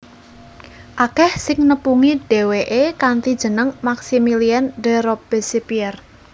Akèh sing nepungi dhéwéké kanthi jeneng Maximilien de Robespierre